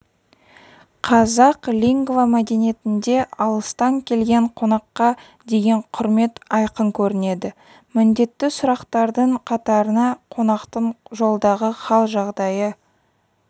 қазақ лингвомәдениетінде алыстан келген қонаққа деген құрмет айқын көрінеді міндетті сұрақтардың қатарына қонақтың жолдағы хал-жағдайы